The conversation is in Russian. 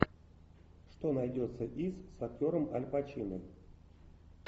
что найдется из с актером аль пачино